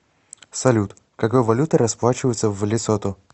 салют какой валютой расплачиваются в лесото